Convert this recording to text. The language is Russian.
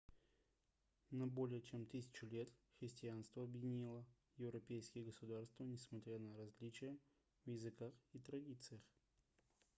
на более чем тысячу лет христианство объединило европейские государства несмотря на различия в языках и традициях